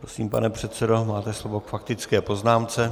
Prosím, pane předsedo, máte slovo k faktické poznámce.